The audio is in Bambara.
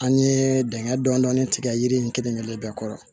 An ye dingɛ dɔɔnin tigɛ yiri kelen kelen bɛɛ kɔrɔ